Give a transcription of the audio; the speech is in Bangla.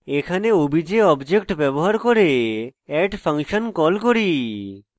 এখানে obj object ব্যবহার করে add ফাংশন call করি